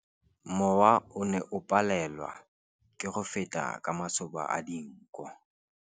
Mowa o ne o palelwa ke go feta ka masoba a dinko.